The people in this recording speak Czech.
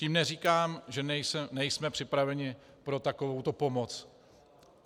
Tím neříkám, že nejsme připraveni pro takovouto pomoc.